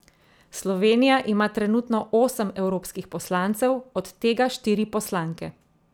Slovenija ima trenutno osem evropskih poslancev, od tega štiri poslanke.